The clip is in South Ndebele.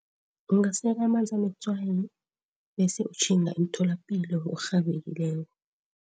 Ungasela amanzi anetswayi bese utjhinga emtholapilo ngokurhabekileko.